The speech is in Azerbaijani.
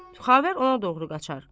Xavər ona doğru qaçar.